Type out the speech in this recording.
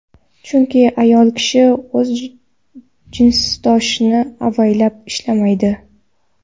Chunki ayol kishi o‘z jinsdoshini avaylab ishlamaydi.